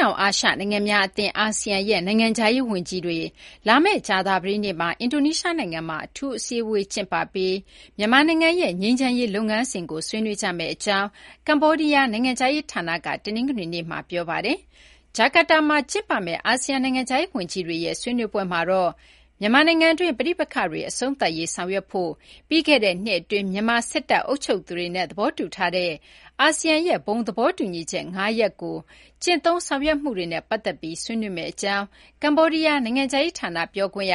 တောင် အာရှ နိုင်ငံများ အသင်း အာဆီယံရဲ့ နိုင်ငံခြားရေး ဝန်ကြီးတွေ လာမယ့် ကြာသပတေးနေ့မှာ အင်ဒိုနီးရှား နိုင်ငံမှာ အထူးအစည်းအဝေး ကျင်းပပြီး မြန်မာနိုင်ငံရဲ့ ငြိမ်းချမ်းရေး လုပ်ငန်းစဉ်ကို ဆွေးနွေးကြမယ့် အကြောင်း ကမေ ္ဘာဒီးယား နိုင်ငံခြားရေး ဌာနက တနင်္ဂနွေနေ့မှာ ပြောပါတယ်။ ဂျာကာတာမှာ ကျင်းပမယ့် အာဆီယံ နိုင်ငံခြားရေး ဝန်ကြီးတွေရဲ့ ဆွေးနွေးပွဲမှာတော့ မြန်မာနိုင်ငံတွင်း ပဋိပက္ခတွေ အဆုံးသတ်ရေး ဆောင်ရွက်ဖို့ ပြီးခဲ့တဲ့ နှစ် အတွင်း မြန်မာ စစ်တပ် အုပ်ချုပ်သူတွေနဲ့ သဘောတူထားတဲ့ အာဆီယံရဲ့ ဘုံသဘောသတူညီချက် ၅ ရပ်ကို ကျင့်သုံးဆောင်ရွက်မှုတွေကို ဆွေးနွေးမယ့် အကြောင်း ကမေ ္ဘာဒီးယား နိုင်ငံခြားရေး ဌာန ပြောခွင့်ရ